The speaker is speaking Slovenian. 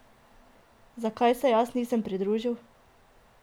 Zakaj se jaz nisem pridružil?